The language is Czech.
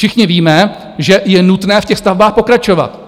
Všichni víme, že je nutné v těch stavbách pokračovat,